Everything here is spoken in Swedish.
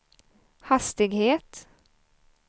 hastighet